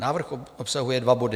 Návrh obsahuje dva body.